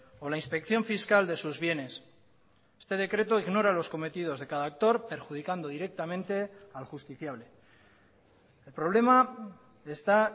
o la inspección fiscal de sus bienes este decreto ignora los cometidos de cada actor perjudicando directamente al justiciable el problema está